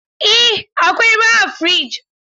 Eh akwai ruwa a fridge